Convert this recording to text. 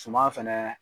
Suman fɛnɛ